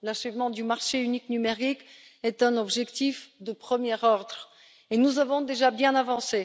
L'achèvement du marché unique numérique est un objectif de premier ordre et nous avons déjà bien avancé.